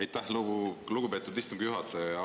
Aitäh, lugupeetud istungi juhataja!